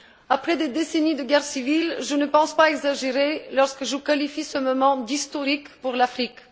Après des décennies de guerre civile, je ne pense pas exagérer lorsque je qualifie ce moment d'historique pour l'Afrique.